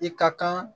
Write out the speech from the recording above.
I ka kan